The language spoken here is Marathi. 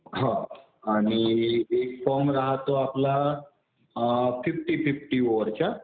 हो आणि एक फॉर्म राहतो आपला फिफ्टी-फिफ्टी ओव्हरचा.